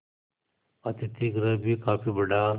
अतिथिगृह भी काफी बड़ा